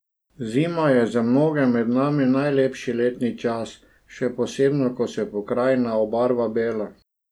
Zima je za mnoge med nami najlepši letni čas, še posebno ko se pokrajina obarva belo.